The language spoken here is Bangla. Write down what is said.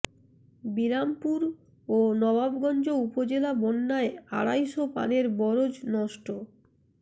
বিরামপুর ও নবাবগঞ্জ উপজেলা বন্যায় আড়াই শ পানের বরজ নষ্ট